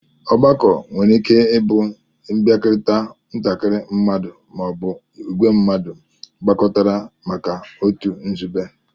Ọgbakọ nwere ike ibu nbiakorita ntakiri mmadu ma ọ bụ ìgwé mmadu gbakọtara maka otu nzube